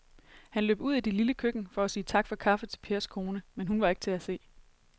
Han løb ud i det lille køkken for at sige tak for kaffe til Pers kone, men hun var ikke til at se.